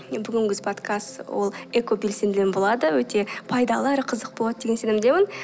міне бүгінгі біз подкаст ол экобелсендімен болады өте пайдалы әрі қызықты болады деген сенімдемін